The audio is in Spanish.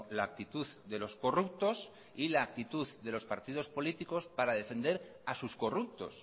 la actitud de los corruptos y la actitud de los partidos políticos para defender a sus corruptos